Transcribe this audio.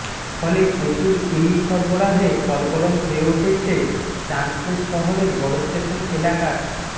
ফলে প্রচুর ইলিশ সরবরাহে সরগরম হয়ে উঠেছে চাঁদপুর শহরের বড়স্টেশন এলাকার